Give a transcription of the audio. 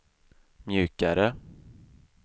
mjukare